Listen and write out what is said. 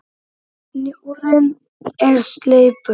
Snjórinn er sleipur!